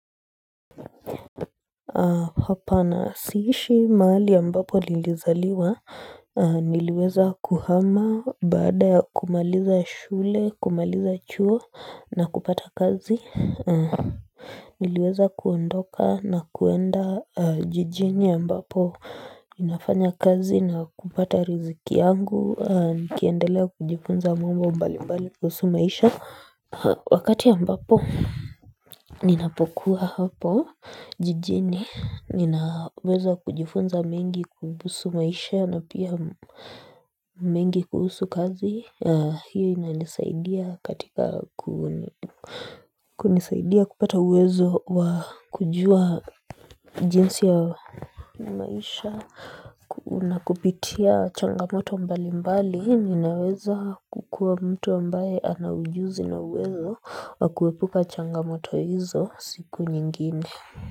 Hapa na siishi mahali ambapo nilizaliwa niliweza kuhama baada ya kumaliza shule kumaliza chuo na kupata kazi niliweza kuondoka na kuenda jijini ambapo ninafanya kazi na kupata riziki yangu nikiendelea kujifunza mambo mbali mbali kuhusu maisha Wakati ambapo ninapokuwa hapo jijini, ninaweza kujifunza mengi kuhusu maisha na pia mengi kuhusu kazi, hiyo inanisaidia katika kunisaidia kupata uwezo wa kujua jinsi ya maisha. Unakupitia changamoto mbali mbali ninaweza kukuwa mtu ambaye ana ujuzi na uwezo wa kuepuka changamoto hizo siku nyingine.